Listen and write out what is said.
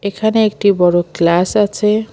এখানে একটি বড় ক্লাস আছে।